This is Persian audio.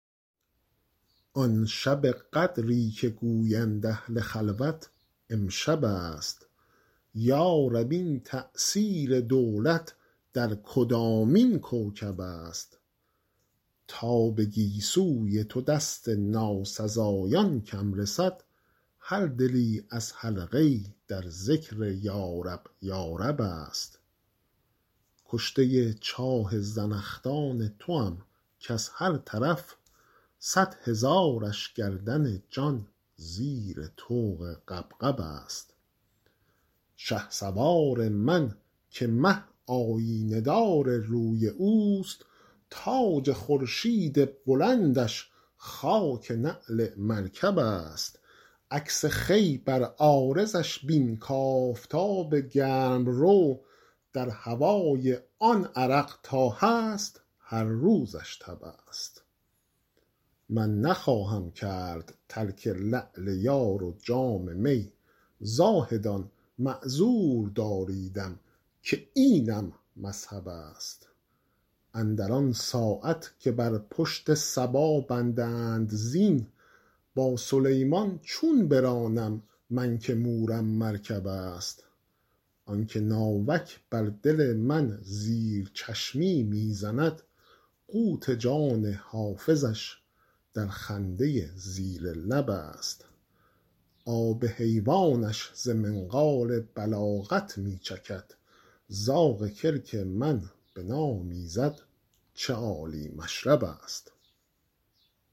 آن شب قدری که گویند اهل خلوت امشب است یا رب این تأثیر دولت در کدامین کوکب است تا به گیسوی تو دست ناسزایان کم رسد هر دلی از حلقه ای در ذکر یارب یارب است کشته چاه زنخدان توام کز هر طرف صد هزارش گردن جان زیر طوق غبغب است شهسوار من که مه آیینه دار روی اوست تاج خورشید بلندش خاک نعل مرکب است عکس خوی بر عارضش بین کآفتاب گرم رو در هوای آن عرق تا هست هر روزش تب است من نخواهم کرد ترک لعل یار و جام می زاهدان معذور داریدم که اینم مذهب است اندر آن ساعت که بر پشت صبا بندند زین با سلیمان چون برانم من که مورم مرکب است آن که ناوک بر دل من زیر چشمی می زند قوت جان حافظش در خنده زیر لب است آب حیوانش ز منقار بلاغت می چکد زاغ کلک من بنامیزد چه عالی مشرب است